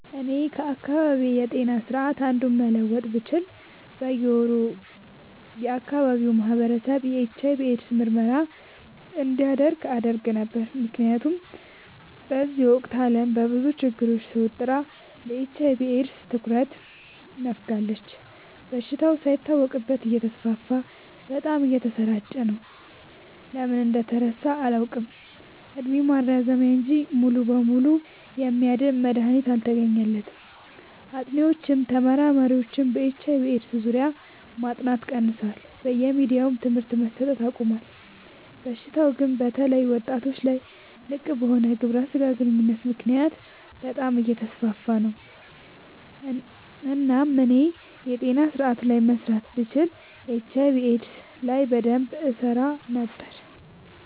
እኔ ከአካባቢዬ ጤና ስርዓት አንዱን መለወጥ ብችል በየ ወሩ የአካባቢው ማህበረሰብ የኤች/አይ/ቪ ኤድስ ምርመራ እንዲያደርግ አደረግ ነበር። ምክንያቱም በዚህ ወቅት አለም በብዙ ችግር ተወጥራ ለኤች/አይ/ቪ ኤድስ ትኩረት ነፋጋለች። በሽታው ሳይታወቅበት እተስፋፋ በጣም እየተሰራጨ ነው። ለምን እንደተረሳ አላውቅ እድሜ ማራዘሚያ እንጂ ሙሉ በሙሉ የሚያድን መድሀኒት አልተገኘለትም ጥኒዎችም ተመራማሪዎችም በኤች/አይ/ቪ ኤድስ ዙሪያ ማጥናት ቀንሰዋል በየሚዲያውም ትምህርት መሰት አቆሞል። በሽታው ግን በተለይ ወጣቶች ላይ ልቅበሆነ ግብረ ስጋ ግንኙነት ምክንያት በጣም አየተስፋፋ ነው። እናም እኔ የጤና ስረአቱ ላይ መስራት ብችል ኤች/አይ/ቪ ኤድስ ላይ በደንብ እሰራ ነበር።